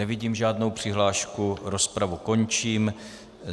Nevidím žádnou přihlášku, rozpravu končím.